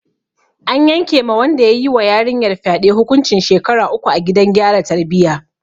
An yanke ma wanda ya yi wa yarinyar fyade hukuncin shekaru uku a gidan gyara tarbiyya.